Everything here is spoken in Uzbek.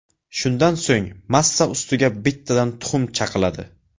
Shundan so‘ng massa ustiga bittadan tuxum chaqiladi.